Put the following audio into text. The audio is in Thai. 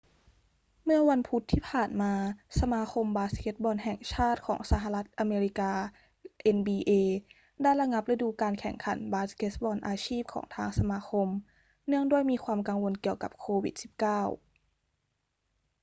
เมื่อวันพุธที่ผ่านมา สมาคมบาสเกตบอลแห่งชาติของสหรัฐอเมริกา nba ได้ระงับฤดูกาลแข่งขันบาสเกตบอลอาชีพของทางสมาคมเนื่องด้วยมีความกังวลเกี่ยวกับโควิด-19